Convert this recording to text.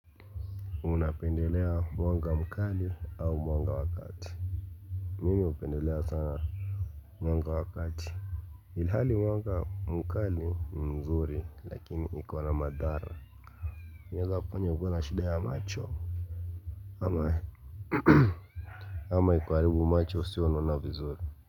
Unapendelea mwanga mkali au mwanga wakati Mimi hupendelea sana Mwanga wakati Ilhali mwanga mkali mzuri lakini iko na madhara. Inaweza kufanya ukuwe na shida ya macho Ama Ama ikuharibu macho usiwe unaona vizuri.